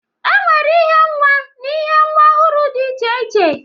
E nwere ihe nwa na ihe nwa ọhụrụ dị iche iche.